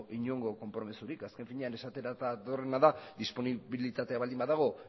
inongo konpromisorik azken finean esatera datorrena da disponibilitatea baldin badago